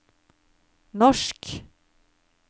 norsk